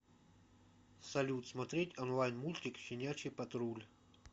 салют смотреть онлайн мультик щенячий патруль